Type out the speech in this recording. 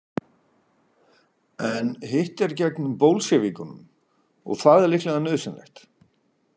En hitt er gegn Bolsévikunum, og það er líklega nauðsynlegt.